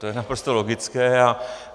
To je naprosto logické.